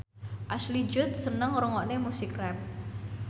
Ashley Judd seneng ngrungokne musik rap